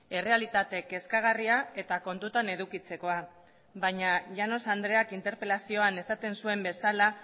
errealitate kezkagarria eta kontutan edukitzekoa baina llanos andreak interpelazioan esaten zuen bezala